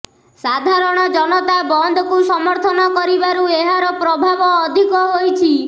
ସାଧାରଣ ଜନତା ବନ୍ଦକୁ ସମର୍ଥନ କରିବାରୁ ଏହାର ପ୍ରଭାବ ଅଧିକ ହୋଇଛି